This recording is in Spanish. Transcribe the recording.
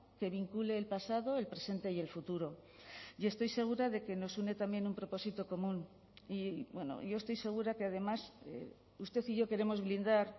que vincule el pasado el presente y el futuro y estoy segura de que nos une también un propósito común y bueno yo estoy segura que además usted y yo queremos blindar